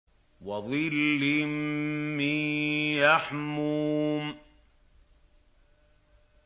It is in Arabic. وَظِلٍّ مِّن يَحْمُومٍ